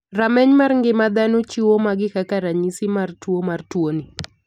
Rameny mar ng'ima dhano chiwo magi kaka ranyisi mar tuo mar tuo ni.